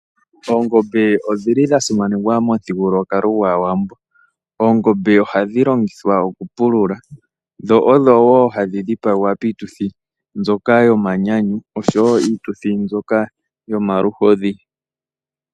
Oongombe odhili dha simanekwa momuthigululwakalo gwAawambo. Oongombe ohadhi longithwa okupulula, dho odhowo hadhi dhipagwa piituthi mbyoka yomanyanyu, noshowo piituthi mbyoka yomaluhodhi.